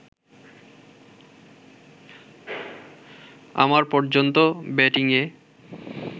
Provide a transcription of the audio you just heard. আমার পর্যন্ত ব্যাটিংয়ে